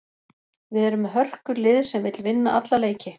Við erum með hörkulið sem vill vinna alla leiki.